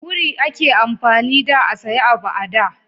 wuri a ke amfani da a saya abu a da